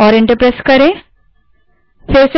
करें और enter दबायें